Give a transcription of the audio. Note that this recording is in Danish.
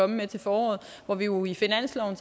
med til foråret hvor vi jo i finansloven